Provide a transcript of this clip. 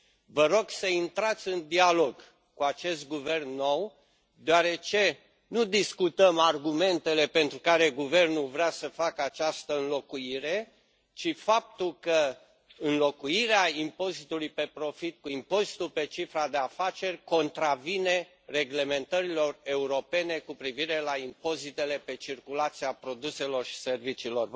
Vă rog să intrați în dialog cu acest guvern nou deoarece nu discutăm argumentele pentru care guvernul vrea să facă această înlocuire, ci de faptul că înlocuirea impozitului pe profit cu impozitul pe cifra de afaceri contravine reglementărilor europene cu privire la impozitele pe circulația produselor și serviciilor.